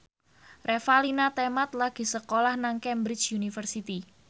Revalina Temat lagi sekolah nang Cambridge University